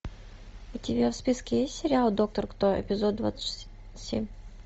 у тебя в списке есть сериал доктор кто эпизод двадцать семь